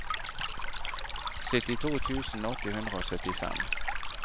syttito tusen åtte hundre og syttifem